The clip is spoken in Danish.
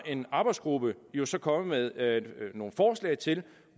en arbejdsgruppe jo så kommet med nogle forslag til